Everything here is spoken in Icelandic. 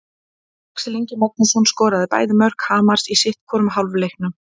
Axel Ingi Magnússon skoraði bæði mörk Hamars í sitthvorum hálfleiknum.